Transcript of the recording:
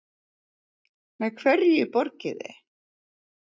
Með hverju borgiði?